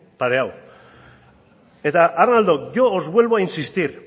pareado eta arnaldok yo os vuelvo a insistir